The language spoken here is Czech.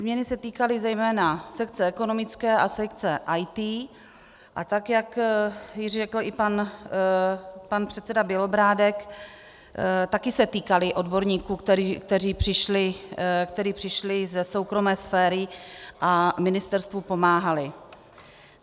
Změny se týkaly zejména sekce ekonomické a sekce IT, a tak jak již řekl i pan předseda Bělobrádek, také se týkaly odborníků, kteří přišli ze soukromé sféry a ministerstvu pomáhali.